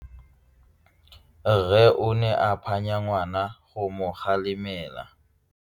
Rre o ne a phanya ngwana go mo galemela.